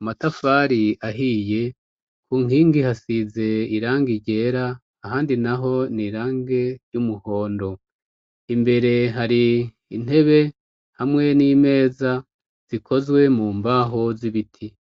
amatafari ahiye, kunkingi hasize irangi ryera ahandi naho n'irangi ry'umuhondo. Imbere har'intebe hamwe n'imeza zikozwe mumbaho z'ibiti.